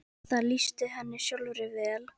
Það lýsti henni sjálfri vel.